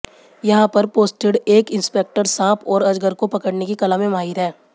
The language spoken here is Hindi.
यहां पर पोस्टेड एक इंस्पेक्टर सांप और अजगर को पकड़ने की कला में माहिर हैं